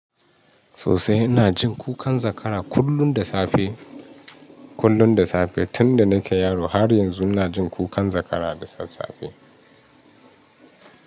Sosai ina jin kukan zakara kullum da safe kullum da safe tunda nake yaro har yanzu ina jin kukan zakara da sassafe.